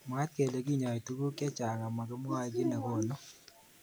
Mwaat kele kinyoi tukun chechang ak makimwae ki nekonu.